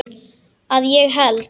Að ég held.